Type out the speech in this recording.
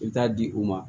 I bɛ taa di u ma